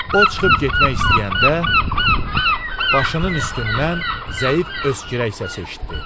O çıxıb getmək istəyəndə başının üstündən zəif öskürək səsi eşitdi.